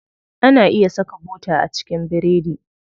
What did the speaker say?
Ana iya saka bota a cikin biredi.